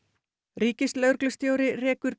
ríkislögreglustjóri rekur